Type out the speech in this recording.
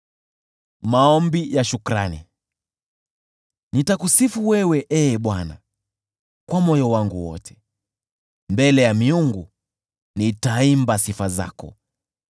Nitakusifu wewe, Ee Bwana , kwa moyo wangu wote, mbele ya “miungu” nitaimba sifa zako.